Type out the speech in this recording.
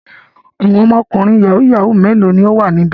Àwọn ọmọkùnrin yahoo yahoo mélòó ni ó wà níbẹ̀?